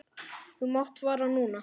Þú mátt fara núna.